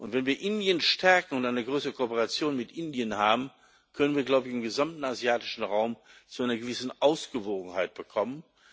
Wenn wir Indien stärken und eine größere Kooperation mit Indien haben, können wir im gesamten asiatischen Raum zu einer gewissen Ausgewogenheit kommen.